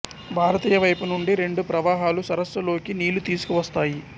భారతీయ వైపు నుండి రెండు ప్రవాహాలు సరస్సు లోకి నీళ్ళు తీసుకువస్తాయి